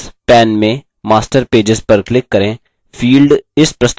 tasks pane में master pages पर click करें